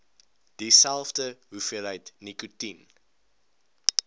dieselfde hoeveelheid nikotien